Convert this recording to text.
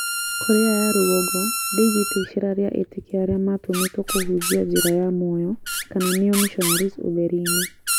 Korea ya rũgongo ndĩigĩte iceera ria etĩkia arĩa matũmĩtwo kũhunjia njĩra ya mũoyo kana nĩo missionaries ũtheri-inĩ